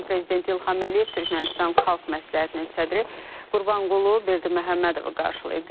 Azərbaycan Prezidenti İlham Əliyev Türkmənistan Xalq Məsləhətinin sədri Qurbanqulu Berdiməhəmmədovu qarşılayıb.